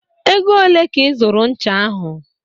Ego ole ka ị zụrụ ncha ahy?